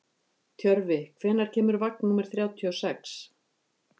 Tjörfi, hvenær kemur vagn númer þrjátíu og sex?